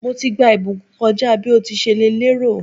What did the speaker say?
Mo ti gba ìbùkún kọ́ja bí o ti ṣe lè rò.